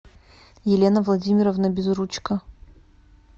елена владимировна безручко